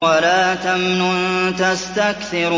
وَلَا تَمْنُن تَسْتَكْثِرُ